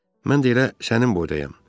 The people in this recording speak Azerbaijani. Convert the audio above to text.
Mən də elə sənin boydayam.